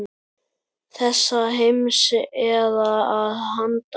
Þessa heims eða að handan.